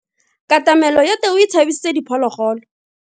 Katamelo ya tau e tshabisitse diphologolo.